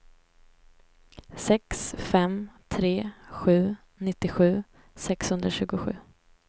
sex fem tre sju nittiosju sexhundratjugosju